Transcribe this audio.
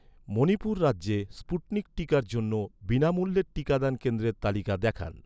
মণিপুর রাজ্যে, স্পুটনিক টিকার জন্য, বিনামূল্যের টিকাদান কেন্দ্রের তালিকা দেখান